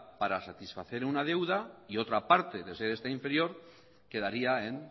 para satisfacer una deuda y otra parte de ser esta inferior quedaría en